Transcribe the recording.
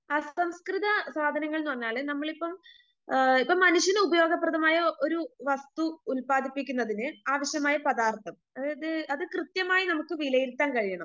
അസംസ്കൃത സാധനങ്ങളെന്നു പറഞ്ഞാല് നമ്മളിപ്പം ആ ഇപ്പം മനുഷ്യന് ഉപയോഗപ്രദമായ ഒരു വസ്തു ഉൽപ്പാദിപ്പിക്കുന്നതിന് ആവശ്യമായ പദാർത്ഥം അതായത് അത് കൃത്യമായി നമുക്ക് വിലയിരുത്താൻ കഴിയണം.